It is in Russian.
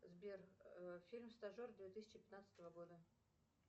сбер фильм стажер две тысячи пятнадцатого года